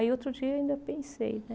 Aí outro dia eu ainda pensei, né?